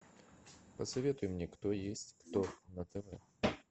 посоветуй мне кто есть кто на тв